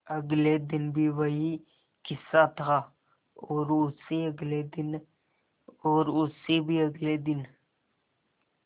अगले दिन भी वही किस्सा था और उससे अगले दिन और उससे भी अगले दिन